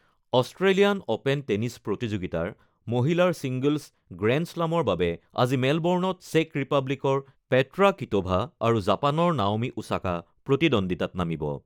Australian open tennis প্ৰতিযোগিতাৰ মহিলাৰ singles গ্ৰেণ্ডশ্লামৰ বাবে আজি মেলবৰ্ণত চেক ৰিপাব্লিকৰ পেট্ৰা কিট'ভা আৰু জাপানৰ নাওমি ওছাকা প্ৰতিদ্বন্দিতাত নামিব।